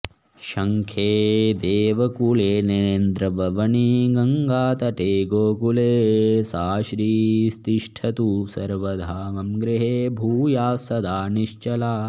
शङ्खे देवकुले नरेन्द्रभवनी गङ्गातटे गोकुले सा श्रीस्तिष्ठतु सर्वदा मम गृहे भूयात्सदा निश्चला